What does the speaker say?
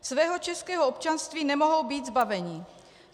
Svého českého občanství nemohou být zbaveni.